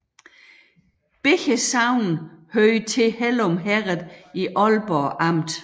Begge sogne hørte til Hellum Herred i Ålborg Amt